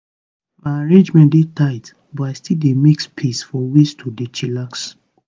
my arrangement dey tight but i still dey make space for ways to dey chillax.